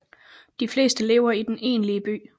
De fleste lever i den egentlige by